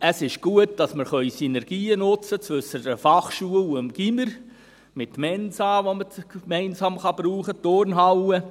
Es ist gut, dass wir Synergien nutzen können zwischen der Fachschule und dem Gymnasium, mit Mensa, die man gemeinsam brauche kann, mit der Turnhalle.